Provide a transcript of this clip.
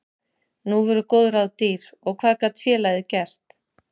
Nú voru góð ráð dýr og hvað gat félagið gert?